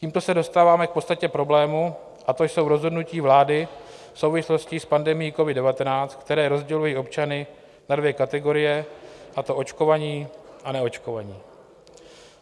Tímto se dostáváme k podstatě problému, a to jsou rozhodnutí vlády v souvislosti s pandemií covid-19, která rozdělují občany na dvě kategorie, a to očkovaní a neočkovaní.